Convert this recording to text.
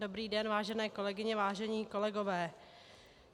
Dobrý den, vážené kolegyně, vážení kolegové.